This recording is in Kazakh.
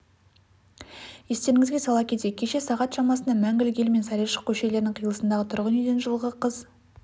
естеріңізге сала кетейік кеше сағат шамасында мәңгілік ел мен сарайшық көшелерінің қиылысындағы тұрғын үйден жылғы қыз